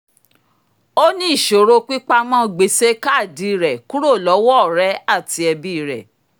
ó ní ìṣòro pípamọ́ gbèsè kaadi rẹ̀ kúrò lọ́wọ́ ọ̀rẹ́ àti ẹbí rẹ̀